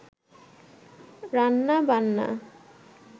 রান্নাবান্না